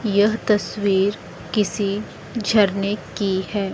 यह तस्वीर किसी झरने की है।